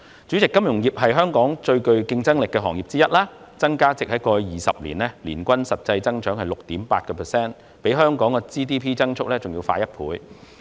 主席，金融業是香港最具競爭力的行業之一，過去20年，其增加值的年均實質增長為 6.8%， 較香港 GDP 的增速快一倍。